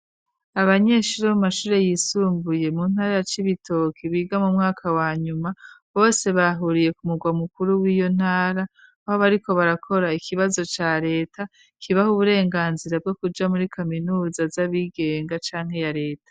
Abanyeshuri bomashure yisumbuye mu ntara ya cibitoki biga mu mwaka wa nyuma bose bahuriye ku murwa mukuru w'iyo ntara aho bariko barakora ikibazo ca leta kibaho uburenganzira bwo kuja muri kaminuza z'abigenga canke ya reta.